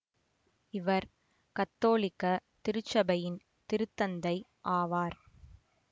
இவர் கத்தோலிக்க திருச்சபையின் திருத்தந்தை ஆவார்